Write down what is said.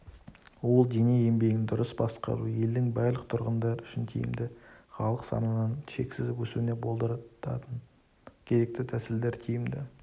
ол дене еңбегін дұрыс басқару елдің барлық тұрғындар үшін тиімді халық санының шексіз өсуіне болдыратын керекті тәсілдер тиімді